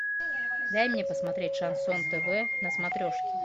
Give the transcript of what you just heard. дай мне посмотреть шансон тв на смотрешке